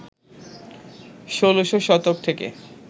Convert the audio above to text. ১৬শ শতক থেকে